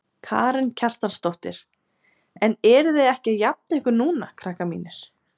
Karen Kjartansdóttir: En eruð þið ekki að jafna ykkur núna krakkar mínir?